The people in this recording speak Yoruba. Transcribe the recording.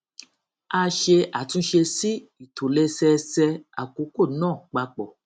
a ṣe àtúnṣe sí ìtòlẹsẹẹsẹ àkókò náà papọ